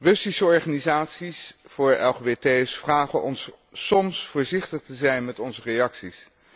Russische organisaties voor LGBT's vragen ons soms voorzichtig te zijn met onze reacties.